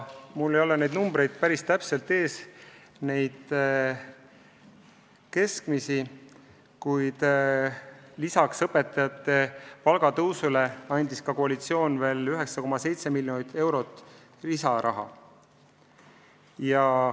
Mul ei ole täpseid keskmisi numbreid ees, kuid lisaks õpetajate palga tõstmisele andis koalitsioon veel 9,7 miljonit eurot lisaraha.